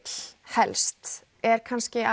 helst er kannski